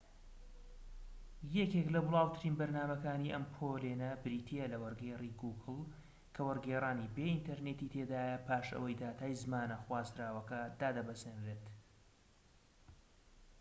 یەکێك لە بڵاوترین بەرنامەکانی ئەم پۆلێنە بریتیە لە وەرگێری گوگڵ کە وەرگێڕانی بێ ئینتەرنێتی تێدایە پاش ئەوەی داتای زمانە خوازراوەکە دادەبەزێنرێت